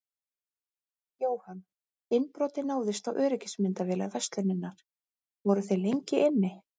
Jóhann: Innbrotið náðist á öryggismyndavélar verslunarinnar, voru þeir lengi inni?